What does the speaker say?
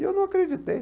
E eu não acreditei.